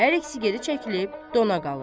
Hər ikisi geri çəkilib dona qalır.